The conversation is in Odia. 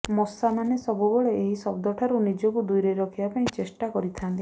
ମଶାମାନେ ସବୁବେଳେ ଏହି ଶବ୍ଦଠାରୁ ନିଜକୁ ଦୂରେଇ ରଖିବା ପାଇଁ ଚେଷ୍ଟା କରିଥାଆନ୍ତି